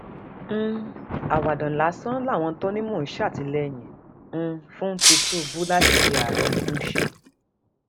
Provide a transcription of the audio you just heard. um àwàdà lásán làwọn tó ní mò ń ṣàtìlẹyìn um fún tìtùbù láti di àárẹ ń ṣe